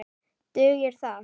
Dugir það?